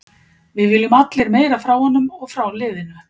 Við viljum allir meira frá honum og frá liðinu.